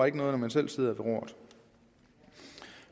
ikke noget når man selv sidder ved roret